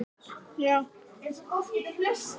ÞÓRBERGUR: Ég meinti það ekki þannig.